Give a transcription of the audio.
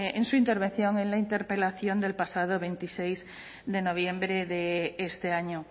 en su intervención en la interpelación del pasado veintiséis de noviembre de este año